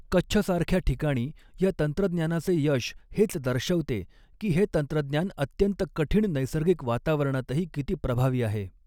कच्छसारख्या ठिकाणी या तंत्रज्ञानाचे यश हेच दर्शवते की हे तंत्रज्ञान अत्यंत कठीण नैसर्गिक वातावरणातही किती प्रभावी आहे.